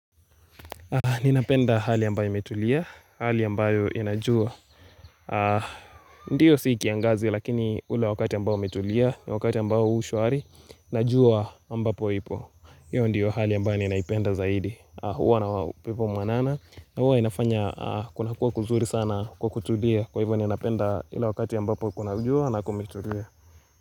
Ninapenda hali ambayo imetulia, hali ambayo inajua Ndiyo sikiangazi lakini ule wakati ambayo umetulia, wakati ambayo ushwari Najua ambapo ipo, hiyo ndiyo hali ambayo ninaipenda zaidi Hua na upepo mwanana, huwa inafanya kunakua kuzuri sana kukutulia Kwa hivyo ninapenda ila wakati ambapo kuna jua na kumetulia.